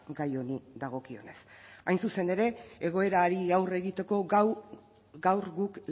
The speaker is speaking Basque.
gai honi dagokionez hain zuzen ere egoerari aurre egiteko gaur guk